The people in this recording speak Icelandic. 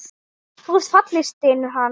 Þú ert falleg, stynur hann.